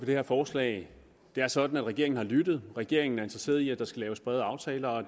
det her forslag det er sådan at regeringen har lyttet regeringen er interesseret i at der skal laves brede aftaler og